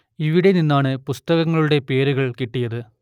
ഇവിടെ നിന്നാണ് പുസ്തകങ്ങളുടെ പേരുകൾ കിട്ടിയത്